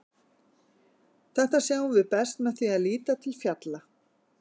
þetta sjáum við best með því að líta til fjalla